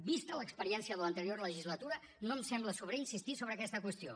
vista l’experiència de l’anterior legislatura no em sembla sobrer insistir sobre aquesta qüestió